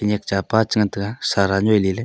niak cha pa chan ngan taiga sara nyiua ley ley.